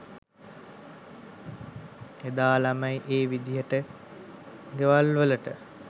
එදා ළමයි ඒ විදිහට ගෙවල්වලට